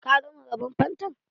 Ka gama raban fantan?